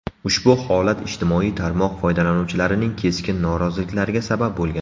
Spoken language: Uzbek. Ushbu holat ijtimoiy tarmoq foydalanuvchilarining keskin noroziliklariga sabab bo‘lgan.